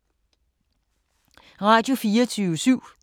Radio24syv